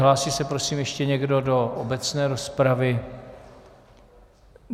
Hlásí se prosím ještě někdo do obecné rozpravy?